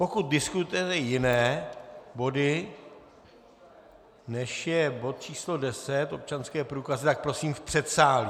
Pokud diskutujete jiné body, než je bod číslo deset, občanské průkazy, tak prosím v předsálí.